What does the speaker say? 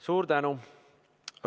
Suur tänu!